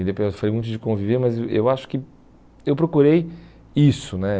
E depois eu falei muito de conviver, mas eu acho que eu procurei isso, né?